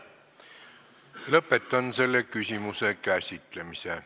Lõpetan selle küsimuse käsitlemise.